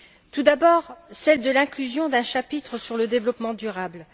Tout d'abord, celle de l'inclusion d'un chapitre sur le développement durable.